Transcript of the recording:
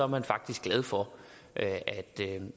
man faktisk glad for